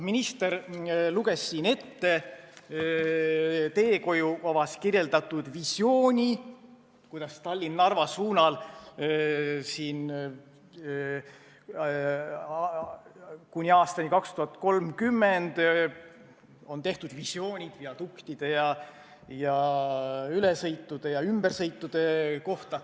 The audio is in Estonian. Minister luges siin ette teehoiukavas kirjeldatud visiooni Tallinna–Narva suunal kuni aastani 2030 kavandatud viaduktide, ülesõitude ja ümbersõitude kohta.